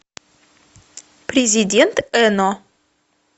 президент эно